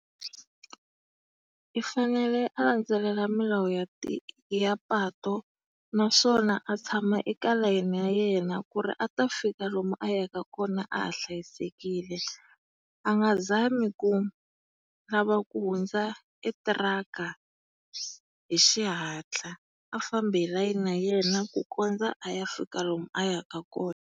I fanele a landzelela milawu ya ya patu naswona a tshama elayeni ya yena ku ri a ta fika lomu a yaka kona a ha hlayisekile. A nga zami ku lava ku hundza e thiraka hi xihatla. A fambi hi layeni ya yena ku kondza a ya fika lomu a yaka kona.